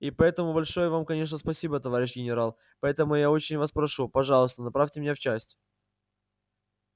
и поэтому большое вам конечно спасибо товарищ генерал поэтому я очень вас прошу пожалуйста направьте меня в часть